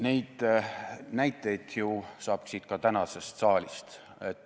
Neid näiteid saab ju ka tänasest saalist.